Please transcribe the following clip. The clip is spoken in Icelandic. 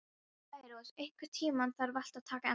Særós, einhvern tímann þarf allt að taka enda.